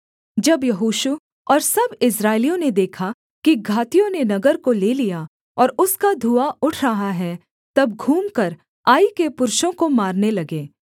जब यहोशू और सब इस्राएलियों ने देखा कि घातियों ने नगर को ले लिया और उसका धुआँ उठ रहा है तब घूमकर आई के पुरुषों को मारने लगे